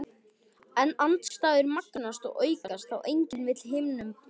Andstæður magnast og aukast þá enginn vill hinum treysta.